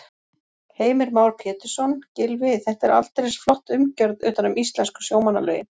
Heimir Már Pétursson: Gylfi, þetta er aldeilis flott umgjörð utan um íslensku sjómannalögin?